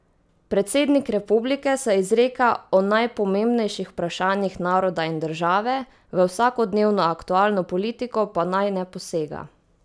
Predsednik republike se izreka o najpomembnejših vprašanjih naroda in države, v vsakodnevno aktualno politiko pa naj ne posega.